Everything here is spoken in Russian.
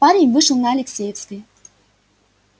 парень вышел на алексеевской